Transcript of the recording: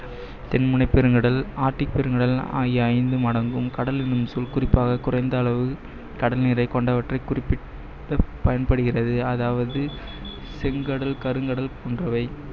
தென்முனைப் பெருங்கடல், ஆர்டிக் பெருங்கடல் ஆகிய ஐந்தும் அடங்கும். கடல் என்னும் சொல் குறிப்பாக குறைந்த அளவு கடல் நீரை கொண்டவற்றை குறிப்பிட பயன்படுகிறது அதாவது செங்கடல், கருங்கடல் போன்றவை